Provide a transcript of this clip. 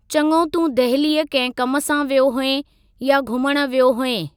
चंङो तूं दहलीअ कंहिं कमु सा वियो हुएं या घुमणु वियो हुएं ?